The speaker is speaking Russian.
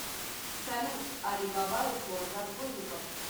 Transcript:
салют али баба и сорок разбойников